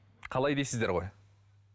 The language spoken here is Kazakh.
қалай дейсіздер ғой